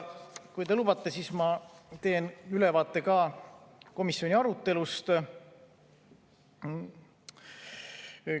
Kui te lubate, siis ma teen ülevaate ka komisjoni arutelust.